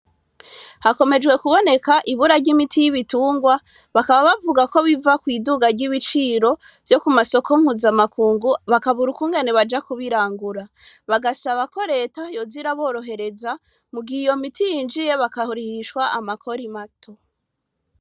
Hakomezwe kuboneka ibura y'imiti yibitungwa bakaba bavugako biva kwiduga ry'ibiciro ryo kumasoka mpuzamakungu ngo bakabura ingene baza kubirangura bagasaba KO reta yoza iraborohereza mugihe iyomiti yinjiye ikarihishwa amakori mato